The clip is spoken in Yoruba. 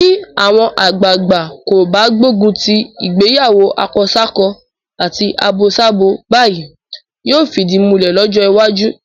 Bí àwọn àgbàagbà kò bá gbógun ti ìgbéyàwó akọsákọ àti abosábo báyìí, yóò fìdí múlẹ̀ lọ́jọ́ iwájú.